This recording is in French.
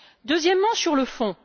Deuxièmement, sur le fond.